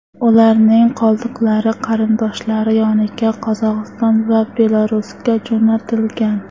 Ularning qoldiqlari qarindoshlari yoniga Qozog‘iston va Belarusga jo‘natilgan.